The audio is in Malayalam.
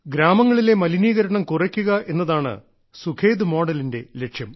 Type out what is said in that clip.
ഗ്രാമങ്ങളിലെ മലിനീകരണം കുറയ്ക്കുക എന്നതാണ് സുഖദ് മോഡലിന്റെ ലക്ഷ്യം